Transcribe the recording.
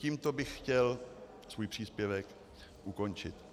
Tímto bych chtěl svůj příspěvek ukončit.